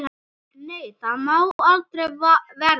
Nei, það má aldrei verða.